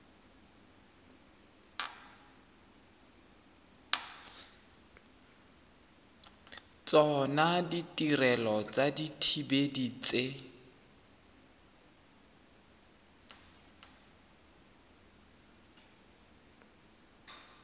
tsona ditirelo tsa dithibedi tse